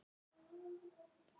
Frelsa sjálfa sig.